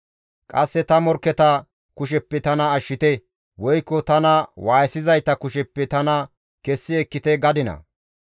Qasse ta morkketa kusheppe tana ashshite; woykko tana waayisizayta kusheppe tana kessi ekkite gadinaa?